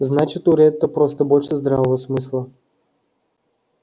значит у ретта просто больше здравого смысла